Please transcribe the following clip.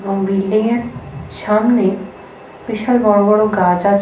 এবং বিল্ডিং -এর সামনে বিশাল বড় বড় গাছ আছে।